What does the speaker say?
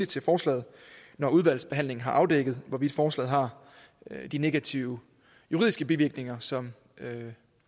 til forslaget når udvalgsbehandlingen har afdækket hvorvidt forslaget har de negative juridiske bivirkninger som